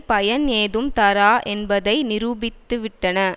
பயன் ஏதும் தரா என்பதை நிரூபித்துவிட்டன